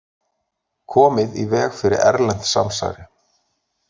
Komið í veg fyrir erlent samsæri